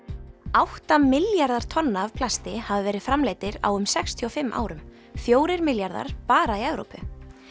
átta milljarðar tonna af plasti hafa verið framleiddir á um sextíu og fimm árum fjórir milljarðar bara í Evrópu